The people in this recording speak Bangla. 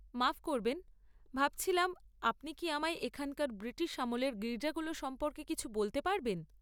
মাফ করবেন, ভাবছিলাম, আপনি কি আমায় এখানকার ব্রিটিশ আমলের গির্জাগুলো সম্পর্কে কিছু বলতে পারবেন?